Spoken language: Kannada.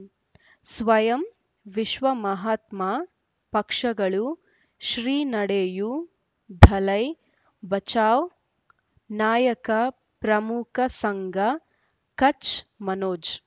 ಸ್ವಯಂ ವಿಶ್ವ ಮಹಾತ್ಮ ಪಕ್ಷಗಳು ಶ್ರೀ ನಡೆಯೂ ದಲೈ ಬಚೌ ನಾಯಕ ಪ್ರಮುಖ ಸಂಘ ಕಚ್ ಮನೋಜ್